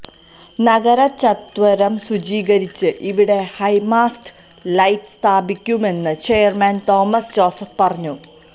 നഗരചത്വരം ശുചീകരിച്ച് ഇവിടെ high mast light സ്ഥാപിക്കുമെന്ന് ചെയര്മാന് തോമസ് ജോസഫ് പറഞ്ഞു